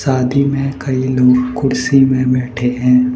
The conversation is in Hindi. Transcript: शादी में कई लोग कुर्सी में बैठे हैं।